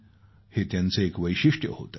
हे त्यांचे एक वैशिष्ट्य होतं